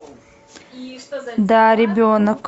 да ребенок